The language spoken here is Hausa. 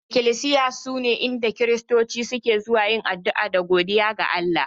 Iklisiya sune inda Kiristoci suke zuwa yin addu'a da godiya ga Allah